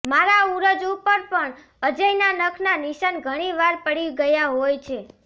મારા ઉરોજ ઉપર પણ અજયના નખના નિશાન ઘણીવાર પડી ગયા હોય છે